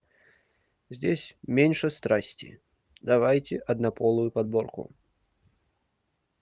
здесь меньше страсти давайте однополую подборку